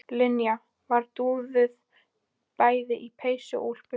Linja var dúðuð bæði í peysu og úlpu.